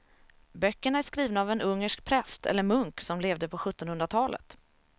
Böckerna är skrivna av en ungersk präst eller munk som levde på sjuttonhundratalet.